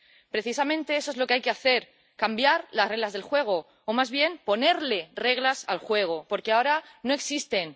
Precisamente eso es lo que hay que hacer cambiar las reglas del juego, o, más bien, ponerle reglas al juego, porque ahora no existen.